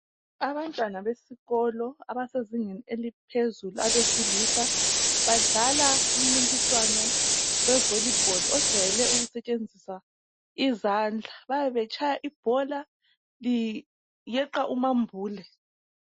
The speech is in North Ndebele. Abantwana besikolo abasezingeni eliphezulu abesilisa badlala umncintiswano wevolibholu ojwayele ukusetshenziswa izandla. Bayabe betshaya ibhola liyeqa umambule.